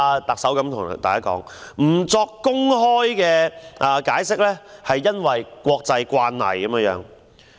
特首還對大家說，不作公開解釋是國際慣例。